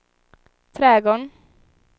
trädgården